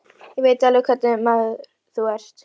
Ég veit alveg hvernig maður þú ert.